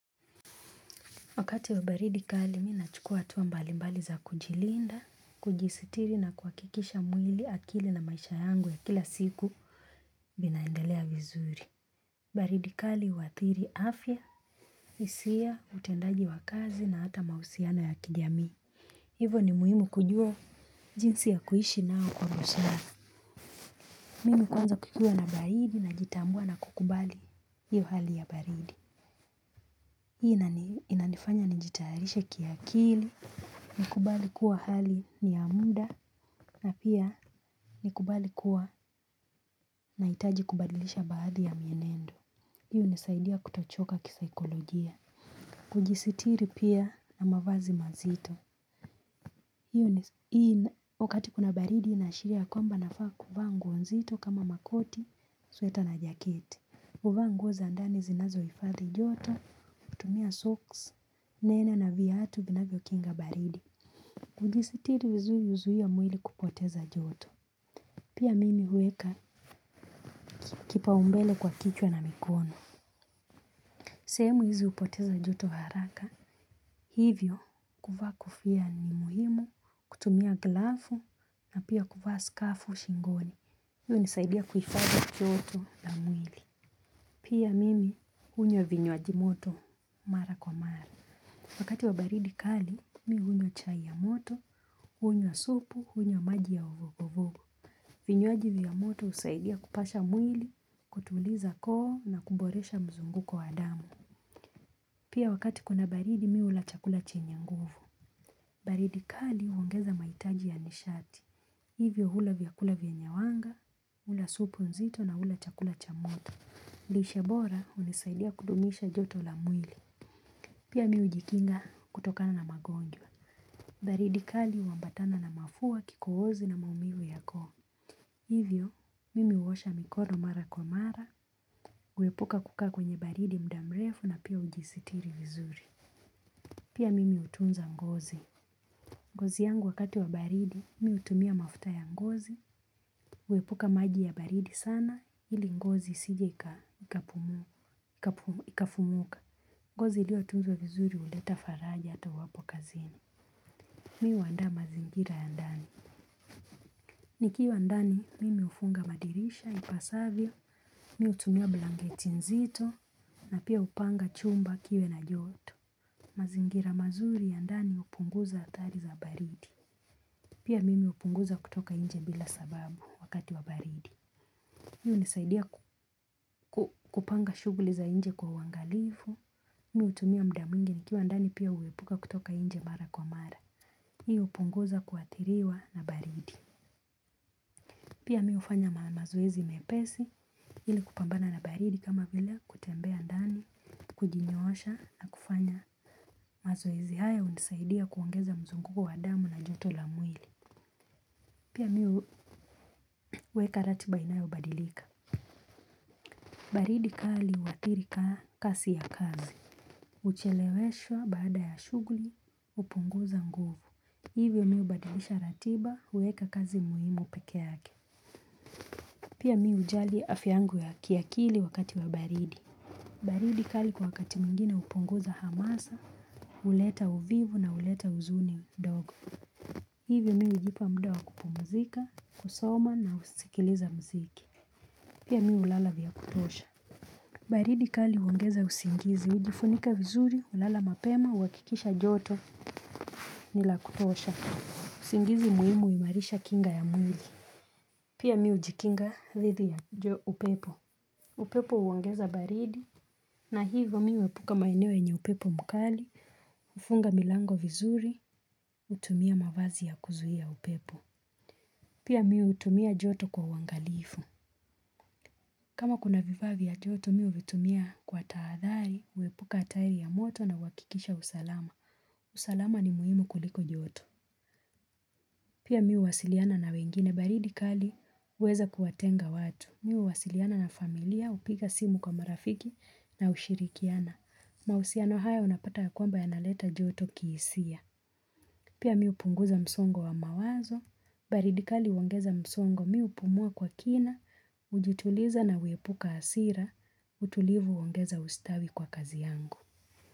Wakati wa baridi kali mi nachukua hatua mbalimbali za kujilinda, kujistiri na kuakikisha mwili akili na maisha yangu ya kila siku inaendelea vizuri. Baridi kali uathiri afya, hisia, utendaji wa kazi na hata mahusiano ya kijamii. Hivo ni muhimu kujua jinsi ya kuishi nao kwamba shana. Mimi kuanza kukua na baridi najitambua na kukubali hiyo hali ya baridi. Hii inanifanya nijitayarishe kiakili, nikubali kuwa hali niya muda na pia nikubali kuwa nahitaji kubadilisha baadhi ya mienendo. Hi hunisaidia kutochoka kisaikolojia. Ujisitiri pia na mavazi mazito. Hii wakati kuna baridi inaashiria kwamba nafaa kuvaa nguo nzito kama makoti, sweta na jaketi. Kuvaa nguo za andani zinazo ifadhi joto, kutumia socks, nene na viatu vinavyo kinga baridi. Kujisitiri vizuri huzuia mwili kupoteza joto. Pia mimi huweka kipaumbele kwa kichwa na mikono. Sehemu hizi hupoteza joto haraka. Hivyo, kuvaa kofia ni muhimu, kutumia glavu na pia kuvaa skafu shingoni. Hiyo hunisaidia kuifadhi joto na mwili. Pia mimi, unywa vinywaaji moto, mara kwa mara. Wakati wa baridi kali, mi hunywa chai ya moto, hunywa supu, hunywa maji ya uvuguvugu. Vinywaji vya moto husaidia kupasha mwili, kutuliza koo na kuboresha mzunguko wa damu. Pia wakati kuna baridi, mi hula chakula chenye nguvu. Baridi kali, huongeza maitaji ya nishati. Hivyo hula vyakula vyenye wanga, hula supu nzito na hula chakula cha moto. Lishe bora unisaidia kudumisha joto la mwili. Pia mi hujikinga kutokana na magonjwa. Baridi kali huambatana na mafua kikohozi na maumivu yako. Hivyo mimi huosha mikono mara kwa mara. Uwepuka kukaa kwenye baridi muda mrefu na pia ujisitiri vizuri. Pia mimi hutunza ngozi. Ngozi yangu wakati wa baridi mi hutumia mafuta ya ngozi. Uwepuka maji ya baridi sana ili ngozi isije ikafumuka ngozi iliotunzwa vizuri huleta faraja ata huwapo kazini. Mi huwandaa mazingira ya ndani. Nikiwa ndani, mimi ufunga madirisha, ipasavyo, mi hutumia blangeti nzito, na pia hupanga chumba kiwe na joto. Mazingira mazuri ya ndani hupunguza hatari za baridi. Pia mimi hupunguza kutoka inje bila sababu wakati wa baridi. Hii hunisaidia kupanga shuguli za inje kwa uwangalifu. Mi hutumia muda mwingi nikiwa ndani pia uwepuka kutoka inje mara kwa mara. Hii upunguza kuathiriwa na baridi. Pia mi hufanya mamazoezi mepesi ili kupambana na baridi kama vile kutembea ndani, kujinyoosha na kufanya mazoezi haya hunisaidia kuongeza mzunguko wa damu na joto la mwili. Pia mi huweka ratiba inayo badilika. Baridi kali uathiri kasi ya kazi. Ucheleweshwa baada ya shuguli kupunguza nguvu. Hivyo mi hubadilisha ratiba huweka kazi muhimu peke yake. Pia mi hujali afya yangu ya kiakili wakati wa baridi. Baridi kali kwa wakati mwingine upunguza hamasa, huleta uvivu na huleta huzuni ndog. Hivyo mi hujipa muda wa kupumzika, kusoma na husikiliza mziki. Pia mi hulala vya kutosha. Baridi kali uongeza usingizi, ujifunika vizuri, ulala mapema, huwakikisha joto ni la kutosha. Usingizi muhimu uimarisha kinga ya mwili. Pia mi hujikinga, dhidi ya, upepo. Upepo uongeza baridi na hivyo mi huepuka maeneo wenye upepo mkali, ufunga milango vizuri, hutumia mavazi ya kuzuhia upepo. Pia mi hutumia joto kwa uwangalifu. Kama kuna vifaa vya joto mi huvitumia kwa taadhari, uwepuka hatari ya moto na huwakikisha usalama. Usalama ni muhimu kuliko joto. Pia mi huwasiliana na wengine baridi kali huweza kuwatenga watu. Mi huwasiliana na familia, hupiga simu kwa marafiki na hushirikiana. Mahusiano haya unapata ya kwamba yanaleta joto kihisia. Pia mi hupunguza msongo wa mawazo, baridi kali uongeza msongo mi hupumua kwa kina, ujutuliza na uwepuka asira, utulivu uongeza ustawi kwa kazi yangu.